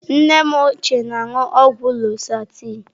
Nne m ochie na-aṅụ ọgwụ lọsahtanị.